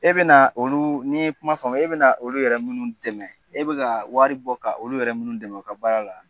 E bɛna olu n'i ye kuma faamu e bɛna olu yɛrɛ minnu dɛmɛ e bɛ ka wari bɔ ka olu yɛrɛ minnu dɛmɛ u ka baara la